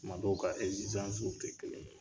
Tumadɔ u ka w te kelen ye.